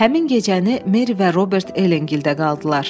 Həmin gecəni Meri və Robert Ellengildə qaldılar.